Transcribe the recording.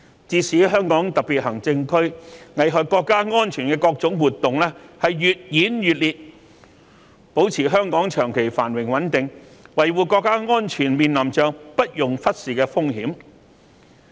自從香港特別行政區危害國家安全的各種活動越演越烈，保持香港長期繁榮穩定、維護國家安全，面臨着不容忽視的風險。